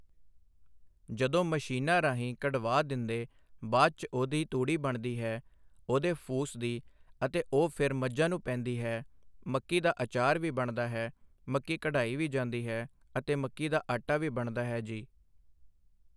ਜਦੋਂ ਮਸ਼ੀਨਾਂ ਰਾਹੀਂ ਕਢਵਾ ਦਿੰਦੇ ਬਾਅਦ 'ਚ ਉਹਦੀ ਤੂੜੀ ਬਣਦੀ ਹੈ ਉਹਦੇ ਫੂਸ ਦੀ ਅਤੇ ਉਹ ਫਿਰ ਮੱਝਾਂ ਨੂੰ ਪੈਂਦੀ ਹੈ ਮੱਕੀ ਦਾ ਆਚਾਰ ਵੀ ਬਣਦਾ ਹੈ ਮੱਕੀ ਕਢਾਈ ਵੀ ਜਾਂਦੀ ਹੈ ਅਤੇ ਮੱਕੀ ਦਾ ਆਟਾ ਵੀ ਬਣਦਾ ਹੈ ਜੀ